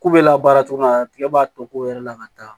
K'u bɛ labaara cogo min na tigɛ b'a tɔ ko yɛrɛ la ka taa